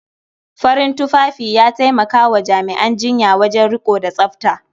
Farin tufafi ya taimaka wa jami'an jinya wajen riƙo da tsafta.